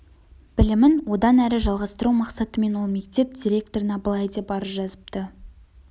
білімін одан әрі жалғастыру мақсатымен ол мектеп директорына былай деп арыз жазыпты